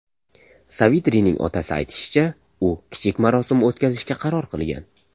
Savitrining otasi aytishicha, u kichik marosim o‘tkazishga qaror qilgan.